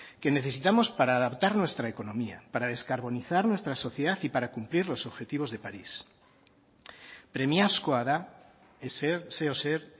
que necesitamos para adaptar nuestra economía para descarbonizar nuestra sociedad y para cumplir los objetivos de parís premiazkoa da zeozer